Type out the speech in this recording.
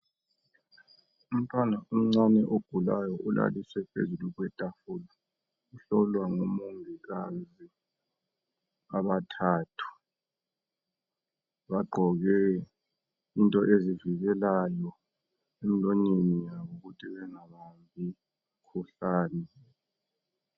Umntwana omncane ogulayo ulaliswe phezu kwetafula, uhlolwa ngomongikazi abathathu. Bagqoke into ezivikelayo emlonyeni yabo ukuthi bengabambi umkhuhlane.